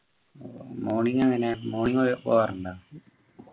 morning എങ്ങനെയാ morning പോകാറുണ്ടാ